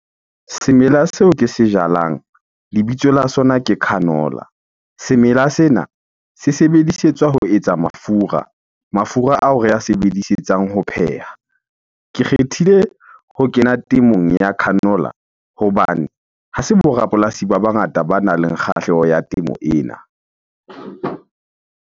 Semela seo ke se jalang, lebitso la sona ke canola. Semela sena se sebedisetswa ho etsa mafura, mafura ao re a sebedisetsang ho pheha. Ke kgethile ho kena temong ya canola hobane ha se bo rapolasi ba bangata banang le kgahleho ya temo ena.